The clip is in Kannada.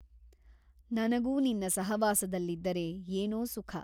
ನನಗೂ ನಿನ್ನ ಸಹವಾಸದಲ್ಲಿದ್ದರೆ ಏನೋ ಸುಖ.